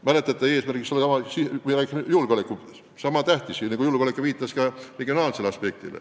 Mäletate, kui jutuks oli julgeolek, siis sai nenditud, et regionaalne aspekt on tähtis ka riigi julgeoleku seisukohast.